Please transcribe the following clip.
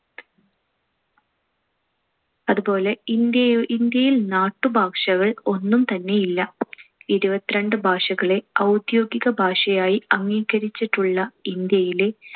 അതുപോലെ ഇന്ത്യയു~ ഇന്ത്യയിൽ നാട്ടുഭാഷകൾ ഒന്നും തന്നെ ഇല്ല. ഇരുപത്തിരണ്ട് ഭാഷകളെ ഔദ്യോഗിക ഭാഷയായി അംഗീകരിച്ചിട്ടുള്ള ഇന്ത്യയിലെ